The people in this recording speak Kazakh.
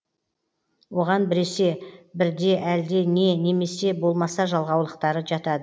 оған біресе бірде әлде не немесе болмаса жалғаулықтары жатады